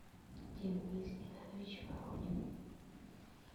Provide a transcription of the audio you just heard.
денис геннадьевич воронин